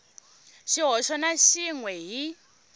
xihoxo na xin we hi